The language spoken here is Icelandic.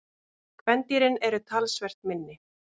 Kvendýrin eru talsvert minni.